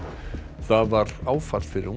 það var áfall fyrir unga